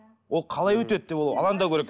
ол қалай өтеді деп ол алаңдау керек